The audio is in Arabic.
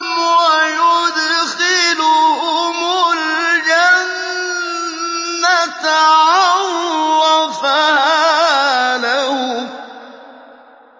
وَيُدْخِلُهُمُ الْجَنَّةَ عَرَّفَهَا لَهُمْ